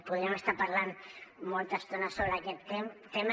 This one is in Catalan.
podríem estar parlant molta estona sobre aquest tema